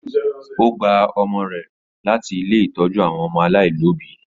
Ó gba ọmọ rẹ̀ ṣọmọ láti ilé ìtọ́jú àwọn ọmọ alaialobi.